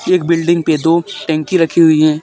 एक बिल्डिंग पे दो टंकी रखी हुयी है।